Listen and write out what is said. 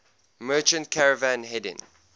merchant caravan heading